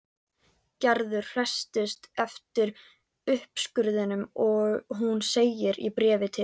Gerður hresstist eftir uppskurðinn og hún segir í bréfi til